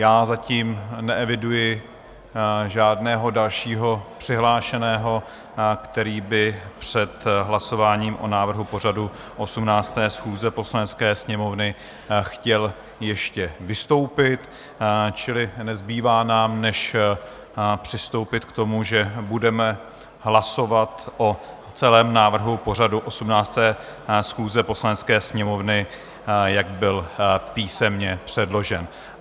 Já zatím neeviduji žádného dalšího přihlášeného, který by před hlasováním o návrhu pořadu 18. schůze Poslanecké sněmovny chtěl ještě vystoupit, čili nezbývá nám než přistoupit k tomu, že budeme hlasovat o celém návrhu pořadu 18. schůze Poslanecké sněmovny, jak byl písemně předložen.